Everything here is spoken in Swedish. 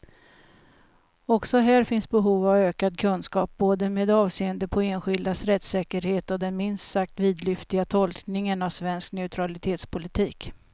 Också här finns behov av ökad kunskap, både med avseende på enskildas rättssäkerhet och den minst sagt vidlyftiga tolkningen av svensk neutralitetspolitik.